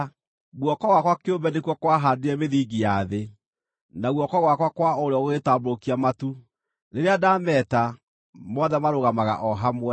Guoko gwakwa kĩũmbe nĩkuo kwahaandire mĩthingi ya thĩ, na guoko gwakwa kwa ũrĩo gũgĩtambũrũkia matu; rĩrĩa ndaameta, mothe marũgamaga o hamwe.